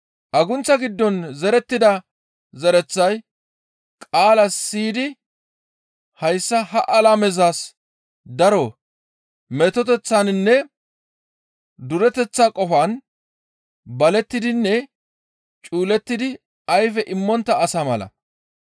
Agunththa giddon zerettida zereththay qaala siyidi hayssa ha alamezas daro metoteththaninne dureteththa qofan balettidinne cuulettidi ayfe immontta asa mala.